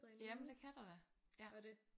Jamen det kan der da ja